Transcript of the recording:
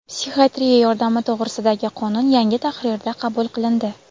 "Psixiatriya yordami to‘g‘risida"gi qonun yangi tahrirda qabul qilindi.